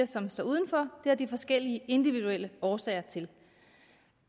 som står udenfor det har de forskellige individuelle årsager til